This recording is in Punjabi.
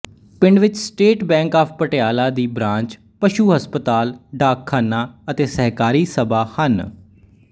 ਪਿੰਡ ਵਿੱਚ ਸਟੇਟ ਬੈਂਕ ਆਫ ਪਟਿਆਲਾ ਦੀ ਬਰਾਂਚਪਸ਼ੂ ਹਸਪਤਾਲ ਡਾਕਖਾਨਾ ਅਤੇ ਸਹਿਕਾਰੀ ਸਭਾ ਹਨ